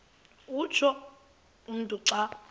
utsho umntu xa